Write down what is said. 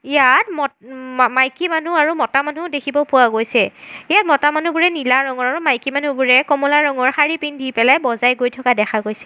ইয়াত মত উঁ মাইকী মানুহ আৰু মতা মানুহ দেখিব পোৱা গৈছে এই মতা মানুহবোৰে নীলা ৰঙৰ আৰু মাইকী মানুহবোৰে কমলা ৰঙৰ শাড়ী পিন্ধি পেলাই বজাই গৈ থকা দেখা গৈছে।